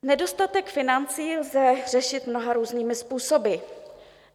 Nedostatek financí lze řešit mnoha různými způsoby.